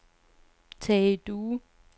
Tage Due